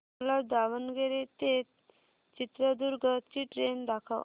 मला दावणगेरे ते चित्रदुर्ग ची ट्रेन दाखव